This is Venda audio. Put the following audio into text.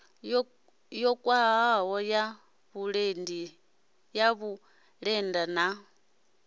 yo khwahaho ya vhulenda na